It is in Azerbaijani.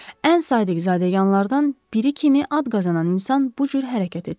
Ən sadiq zadəganlardan biri kimi ad qazanan insan bu cür hərəkət etsin.